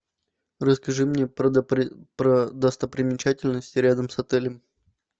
расскажи мне про достопримечательности рядом с отелем